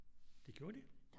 Det gjorde de